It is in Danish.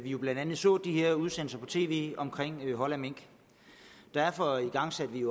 jo blandt andet så de her udsendelser i tv om hold af mink derfor igangsatte vi